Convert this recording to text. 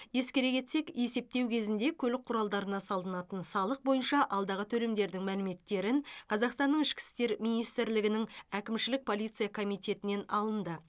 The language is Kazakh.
ескере кетсек есептеу кезінде көлік құралдарына салынатын салық бойынша алдағы төлемдердің мәліметтерін қазақстанның ішкі істер министрлігінің әкімшілік полиция комитетінен алынды